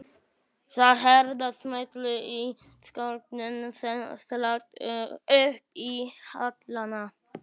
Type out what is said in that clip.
Það heyrast smellir í ilskónum sem slást upp í hælana.